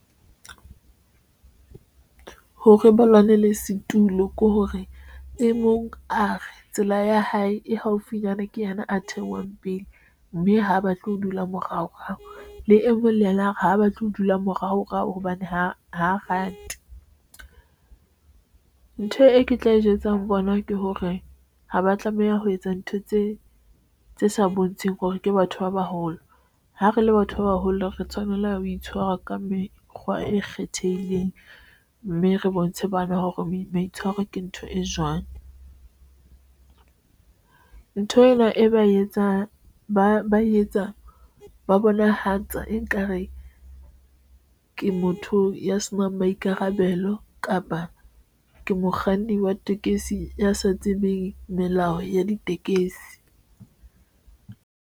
Hore ba lwanela setulo ke hore e mong a tsela ya hae, e haufinyana ke yena a theohang pele mme ha batle ho dula morao rao le e mong le yena hore ha batle ho dula morao rao hobane ha a rate ntho e ke tla e jwetsa bona ke hore haba tlameha ho etsa ntho tse tse sa bontsheng hore ke batho ba baholo. Ha re le batho ba baholo re tshwanela ho itshwara ka mekgwa e kgethehileng mme re bontshe bana hore maitshwaro ke ntho e jwang. Ntho ena e ba etsang ba etsa ba bonahatsa e nkare ke motho ya senang maikarabelo kapa ke mokganni wa tekesi ya sa tsebeng melao ya ditekesi.